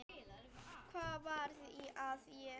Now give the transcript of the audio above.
Hvað var að þér?